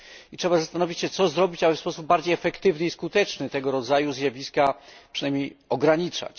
Trzeba się zastanowić, co zrobić, aby w sposób bardziej efektywny i skuteczny tego rodzaju zjawiska przynajmniej ograniczać.